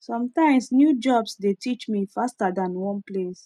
sometimes new jobs dey teach me faster than one place